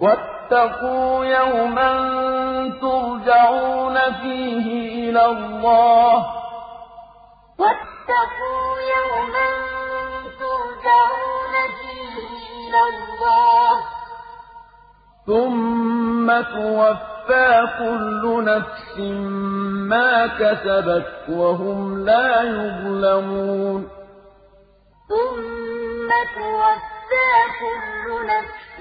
وَاتَّقُوا يَوْمًا تُرْجَعُونَ فِيهِ إِلَى اللَّهِ ۖ ثُمَّ تُوَفَّىٰ كُلُّ نَفْسٍ مَّا كَسَبَتْ وَهُمْ لَا يُظْلَمُونَ وَاتَّقُوا يَوْمًا تُرْجَعُونَ فِيهِ إِلَى اللَّهِ ۖ ثُمَّ تُوَفَّىٰ كُلُّ نَفْسٍ